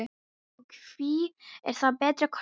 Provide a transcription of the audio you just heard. Og hví er það betri kostur?